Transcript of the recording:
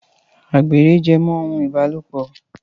Àgbèrè jẹ́ mọ́ ohun ìbálòpọ̀